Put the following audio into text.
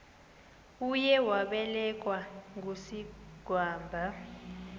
uye wabelekwa ngusigwamba